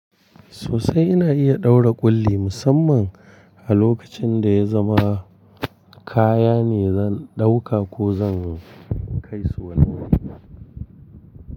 Sosai ina iya ɗaura ƙulli musamman a lokacin da ya zama kaya ne zan ɗauka ko zan kai su wani wuri.